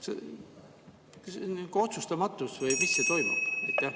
See on otsustamatus või mis toimub?